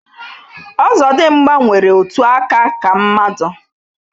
Ọzọdịmgba nwere otu aka ka mmadu